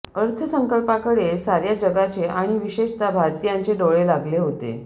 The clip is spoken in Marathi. अर्थसंकल्पाकडे सार्या जगाचे आणि विशेषतः भारतीयांचे डोळे लागले होते